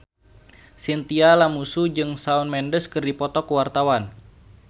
Chintya Lamusu jeung Shawn Mendes keur dipoto ku wartawan